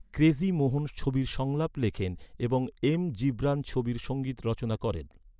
Crazy Mohan, ছবির সংলাপ লেখেন এবং এম জিবরান ছবির সঙ্গীত রচনা করেন।